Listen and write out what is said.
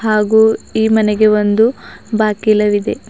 ಹಾಗು ಈ ಮನೆಗೆ ಒಂದು ಬಾಗಿಲ ಇದೆ.